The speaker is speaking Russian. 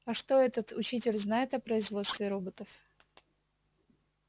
а что этот учитель знает о производстве роботов